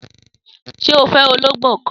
Sé o fé ológbó kan?